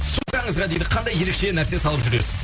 сумкаңызға дейді қандай ерекше нәрсе салып жүресіз